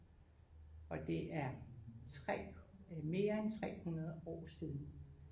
Og det er 3 mere end 300 år siden